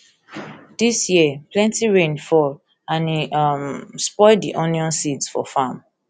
dis year plenty rain fall and e um spoil di onions seeds for farm